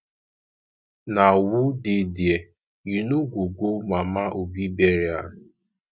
na who dey there you no go go mama obi burial